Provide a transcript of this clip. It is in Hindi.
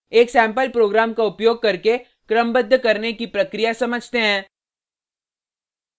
एक सेम्पल प्रोग्राम का उपयोग करके क्रमबद्ध करने की प्रक्रिया समझते हैं